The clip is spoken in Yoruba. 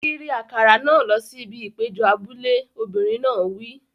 Kiri àkàrà náà lọ sí ibi ìpéjọ abúlé! Obìnrin náà wí.